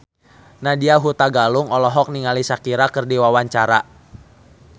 Nadya Hutagalung olohok ningali Shakira keur diwawancara